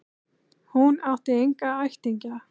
Hún átti enga ættingja.